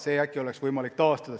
Äkki oleks võimalik see taastada.